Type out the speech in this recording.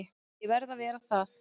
Ég verð að vera það.